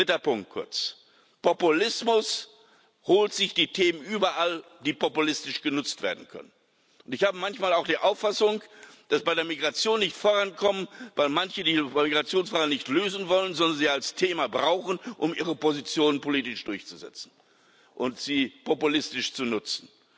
Dritter Punkt, kurz Populismus holt sich die Themen überall, die populistisch genutzt werden können. Ich habe manchmal auch den Eindruck, dass wir bei der Migration nicht vorankommen, weil manche die Migrationsfrage nicht lösen wollen, sondern sie als Thema brauchen, um ihre Positionen politisch durchzusetzen und sie populistisch zu nutzen.